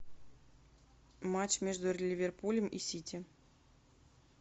матч между ливерпулем и сити